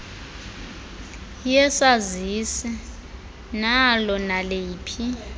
yesazisi nalo naliphi